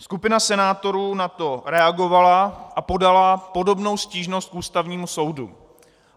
Skupina senátorů na to reagovala a podala podobnou stížnost k Ústavnímu soudu.